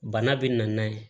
Bana bɛ na n'a ye